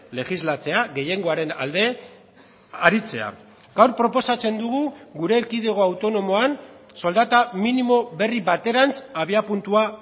legislatzea gehiengoaren alde aritzea gaur proposatzen dugu gure erkidego autonomoan soldata minimo berri baterantz abiapuntua